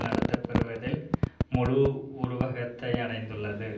நடத்தப்பெறுவதில் முழு உருவகத்தை அடைந்துள்ளது